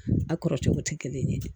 A kɔrɔ cogo tɛ kelen ye